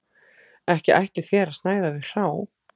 Ekki ætlið þér að snæða þau hrá